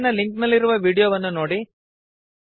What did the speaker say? ಕೆಳಗಿನ ಲಿಂಕ್ ನಲ್ಲಿರುವ ವೀಡಿಯೋವನ್ನು ನೋಡಿರಿ